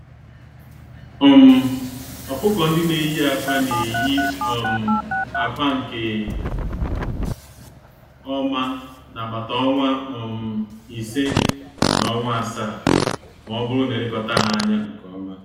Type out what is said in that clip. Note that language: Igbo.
um Ọkụkọ-ndị-neyi-ákwà n'eyi um ákwà nkè ọma nagbata ọnwa um ise, na ọnwa asaá, mọbụrụ na elekọta ha ányá nke ọma.